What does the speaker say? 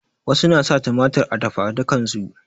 Wasu na sa tumatir a dafadukan su